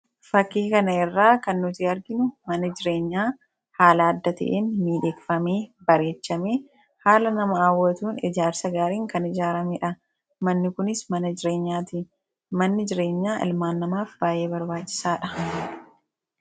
Fakkii kana irraa kan nuti arginu mana jireenyaa haala adda ta'en miidheeffamee, bareechamee, haala nama hawwatuun ijaarsa gaariin kan ijaarameedha, manni kunis mana jireenyaati. manni jireenyaa ilmaan namaaf baay'ee barbaachisaadha